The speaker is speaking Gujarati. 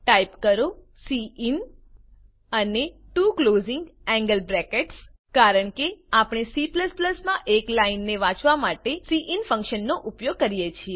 ટાઈપ કરો સિન અને ત્વો ક્લોઝિંગ એન્ગલ bracketsજીટીજીટી કારણ કે આપણે C માં એક લાઈનને વાંચવા માટે સિન ફંકશન નો ઉપયોગ કરીએ છીએ